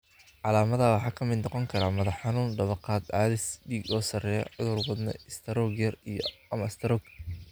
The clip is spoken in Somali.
Calaamadaha waxaa ka mid noqon kara madax-xanuun, dawakhaad, cadaadis dhiig oo sarreeya, cudur wadne, istaroog yar iyo/ama istaroog.